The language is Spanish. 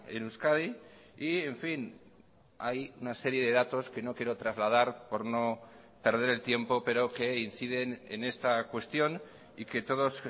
en euskadi y en fin hay una serie de datos que no quiero trasladar por no perder el tiempo pero que inciden en esta cuestión y que todos